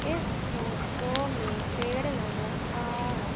इस फोटो में पेड़ नजर आ रा--